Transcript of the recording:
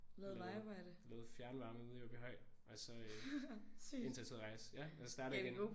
Lavet lavet fjernvarme nede i Åbyhøj og så øh indtil jeg tog ud og rejse ja og startede jeg igen